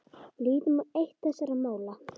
Lítum á eitt þessara mála.